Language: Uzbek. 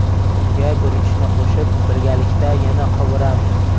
Unga guruchni qo‘shib, birgalikda yana qovuramiz.